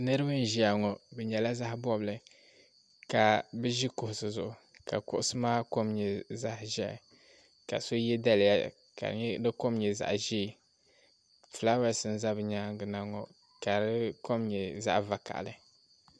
Niriba n ʒia ŋɔ bɛ nyɛla zaɣa bobli ka bɛ ʒi kuɣusi zuɣu ka kuɣusi maa kom nyɛ zaɣa ʒehi ka so ye daliya ka di nyɛ di kom nyɛ zaɣa ʒee filaawaasi n za bɛ nyaanga na ŋɔ ka di kom nyɛ zaɣa vakaɣali.